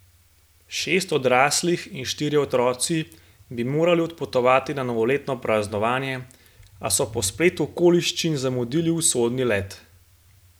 Šest odraslih in štirje otroci bi morali odpotovati na novoletno praznovanje, a so po spletu okoliščin zamudili usodni let.